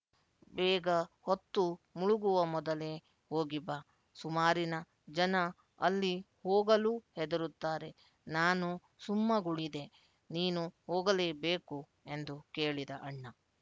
ಬೇಗ ಹೊತ್ತು ಮುಳುಗುವ ಮೊದಲೇ ಹೋಗಿ ಬಾ ಸುಮಾರಿನ ಜನ ಅಲ್ಲಿ ಹೋಗಲೂ ಹೆದರುತ್ತಾರೆ ನಾನು ಸುಮ್ಮಗುಳಿದೆ ನೀನು ಹೋಗಲೇಬೇಕು ಎಂದು ಕೇಳಿದ ಅಣ್ಣ